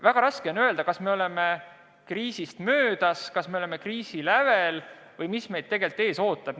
Väga raske on öelda, kas meil on põhiline kriis möödas, kas me oleme alles selle lävel või mis meid tegelikult ees ootab.